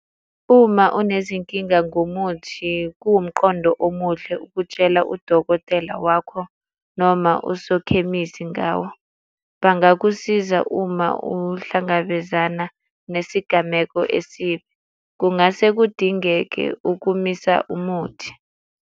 Uma unezinkinga ngomuthi, kuwumqondo omuhle ukutshela udokotela wakho noma usokhemisi ngawo. Bangakusiza uma uhlangabezana nesigameko esibi. Kungase kudingeke ukumisa umuthi.